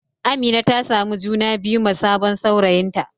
Amina ta samu juna biyu ma sabon saurayinta.